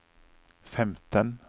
femten